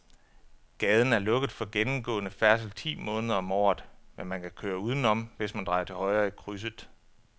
Gaden er lukket for gennemgående færdsel ti måneder om året, men man kan køre udenom, hvis man drejer til højre i krydset.